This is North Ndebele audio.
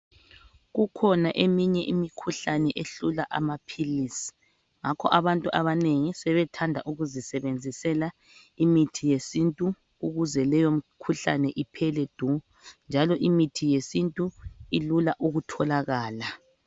Kukhona eminye imikhuhlane ehlula amaphilisi. Ngakho abantu abanengi sebethanda ukuzisebenzisela imithi yesintu ukuze leyo imikhuhlane iphele du. Njalo imithi yesintu ilula ukutholakala.